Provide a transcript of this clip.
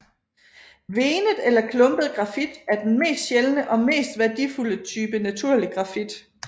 Venet eller klumpet grafit er den mest sjældne og mest værdifulde type naturlig grafit